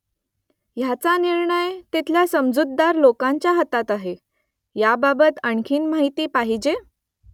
ह्याचा निर्णय तिथल्या समजूतदार लोकांच्या हातात आहे . याबाबत आणखी माहिती पाहिजे ?